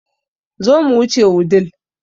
Zo mu wuce Wudil